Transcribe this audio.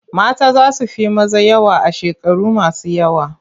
Mata za su fi maza yawa a shekaru masu yawa.